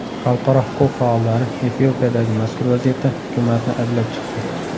Xalqaro huquq faollari Efiopiyadagi mazkur vaziyatda hukumatni ayblab chiqdi.